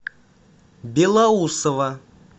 белоусово